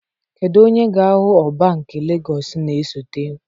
Kedu onye ga-ahụ Ọba nke Legọs na-esote?